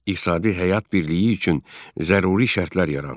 İqtisadi həyat birliyi üçün zəruri şərtlər yarandı.